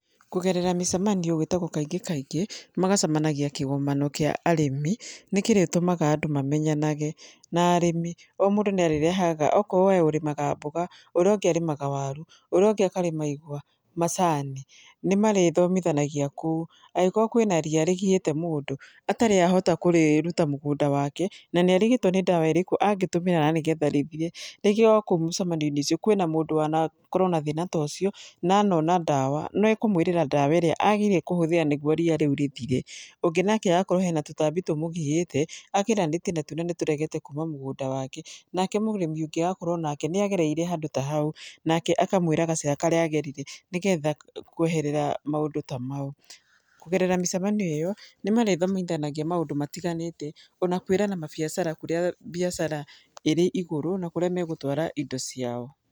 Kũgerera mĩcemanio gwĩtagwo kaingĩ kaingĩ, magacemanagia kĩgomano kĩa arĩmi, nĩ kĩrĩtũmaga andũ mamenyanage, na arĩmi, o mũndũ nĩ arĩrehaga, okorwo we ũrĩmaga mboga, urĩa ũngĩ arĩmaga waru, ũrĩa ũngĩ akarĩma igwa, macani, nĩ marĩthomithanagia kũu. Agĩkorwo kwĩna ria rĩgiĩte mũndũ, atarĩ ahota kũrĩruta mũgũnda wake, na nĩ arigĩtwo nĩ ndawa ĩrĩkũ angĩtũmĩra nĩ getha rĩthiĩ, rĩngĩ okũu mũcemanio-inĩ ũcio kwĩna mũndũ wanakorwo na thĩna ta ũcio na anona ndawa, nĩekũmwĩríĩa ndawa ĩrĩa agĩrĩire kũhũthĩra nĩguo ria rĩu rĩthire. Ũngĩ nake akorwo hena tũtambi tũmũgiĩte, ageranĩtie na tuo na nĩ tũregete kuma mũgũnda wake, nake mũrĩmi ũngĩ agakorwo nĩ agereire handũ ta hau, nake akamwĩra gacĩra karĩa agerire nĩ getha kũeherera maũndũ ta mau. Kũgerera mĩcemanio ĩyo nĩ marĩthomithanagia maũndũ matiganĩte, ona kwĩrana mabiacara kũrĩa mbiacara ĩrĩ igũrũ, na kũrĩa megũtwara indo ciao.